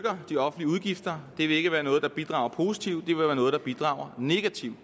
de offentlige udgifter det vil ikke være noget der bidrager positivt det vil være noget der bidrager negativt